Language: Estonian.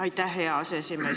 Aitäh, hea aseesimees!